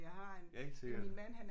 Ja helt sikkert